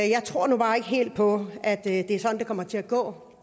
jeg tror nu bare ikke helt på at det er sådan det kommer til at gå